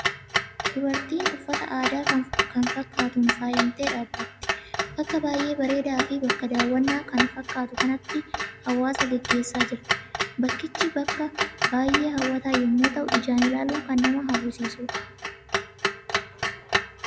Dubartiin uffata aadaa kan fakkaatuun faayamtee dhaabbatti. Bakka baay'ee bareedaa fi bakka daawwannaa kan fakkaatu kanatti haasawaa gaggeessaa jirti. Bakkicha bakka baay'ee hawwataa yommuu ta'u, ijaan ilaaluun kan nama hawwisiisudha.